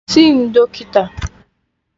Sị ndo kịta!